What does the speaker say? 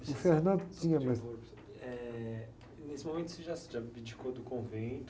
O tinha mais... h, nesse momento, você já se abdicou do convento?